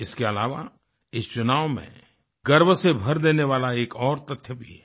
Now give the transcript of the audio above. इसके अलावा इस चुनाव में गर्व से भर देने वाला एक और तथ्य भी है